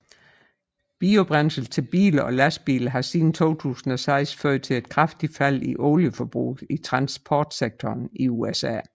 Biobrændsel til biler og lastbiler har siden 2006 ført til et kraftigt fald i olieforbruget i transportsektoren i USA